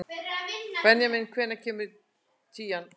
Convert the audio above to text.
Benjamín, hvenær kemur tían?